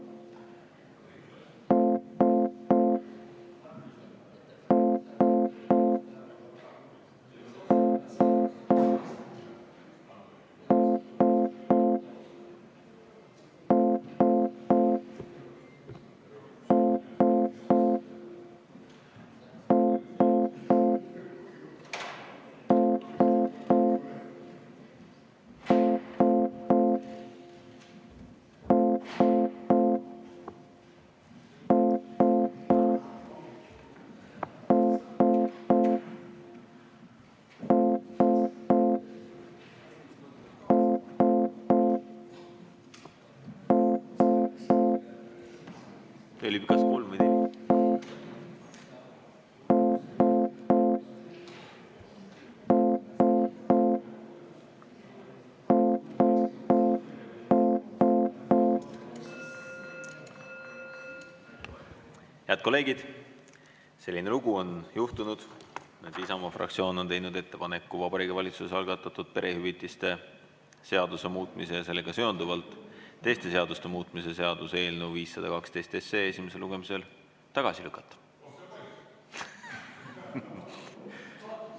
Head kolleegid, selline lugu on juhtunud, et Isamaa fraktsioon on teinud ettepaneku Vabariigi Valitsuse algatatud perehüvitiste seaduse muutmise ja sellega seonduvalt teiste seaduste muutmise seaduse eelnõu 512 esimesel lugemisel tagasi lükata.